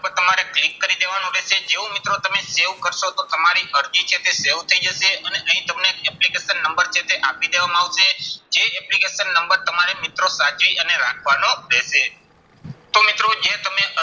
ઉપર તમારે click કરી દેવાનું રહેશે. જેવું મિત્રો તમે save કરશો તો તમારી અરજી છે તે save થઇ જશે અને અહીં તમને application નંબર છે તે આપી દેવામાં આવશે. જે application નંબર તમારે મિત્રો સાચવીને રાખવાનો રહેશે. જો મિત્રો તમે